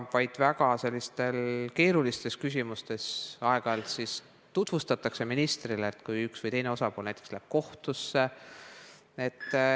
Ministrile tutvustatakse aeg-ajalt vaid selliseid väga keerulisi küsimusi, näiteks kui üks või teine osapool läheb kohtusse.